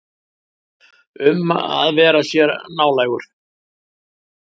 Um að vera sér nálægur.